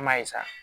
An m'a ye sa